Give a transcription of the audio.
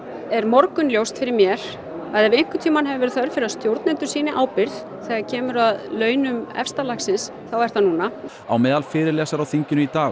er morgunljóst fyrir mér að ef einhvern tímann hefur verið þörf fyrir að stjórnendur sýni ábyrgð þegar kemur að launum efsta lagsins þá er það núna á meðal fyrirlesara á þinginu í dag